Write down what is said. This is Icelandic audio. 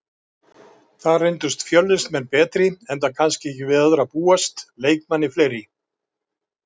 Þar reyndust Fjölnismenn betri enda kannski ekki við öðru að búast, leikmanni fleiri.